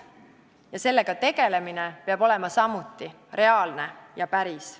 Ja sellega tegelemine peab olema samuti reaalne ja päris.